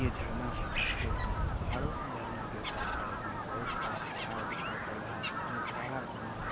ये झरना है जो कि पहाड़ों से झरना गिरता है साइड में बहोत बड़ा पहाड़ दिखाई पड़ रहा है जो काला घना है।